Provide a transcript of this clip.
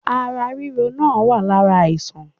Ara ríro náà wá lára àìsàn.